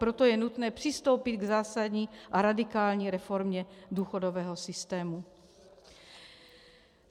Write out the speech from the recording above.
Proto je nutné přistoupit k zásadní a radikální reformě důchodového systému.